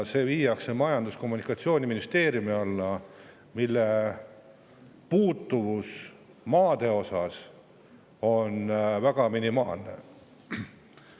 See viiakse Majandus- ja Kommunikatsiooniministeeriumi alla, mis on maaga seotud minimaalselt.